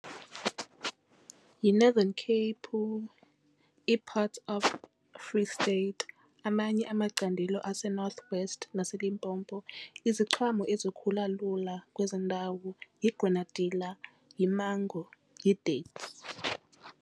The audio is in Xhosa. YiNorthern Cape, i-parts of Free State, amanye amacandelo aseNoth West naseLimpopo. Iziqhamo ezikhula lula kwezo ndawo yigranadila, yimango, yi-dates.